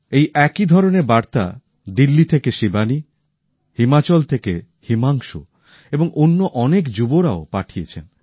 এই একইধরনের বার্তা দিল্লি থেকে শিবানী হিমাচল থেকে হিমাংশু এবং অন্য অনেক যুবকযুবতীরাও পাঠিয়েছেন